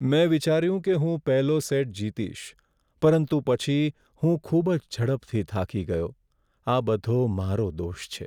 મેં વિચાર્યું કે હું પહેલો સેટ જીતીશ, પરંતુ પછી હું ખૂબ જ ઝડપથી થાકી ગયો. આ બધો મારો દોષ છે.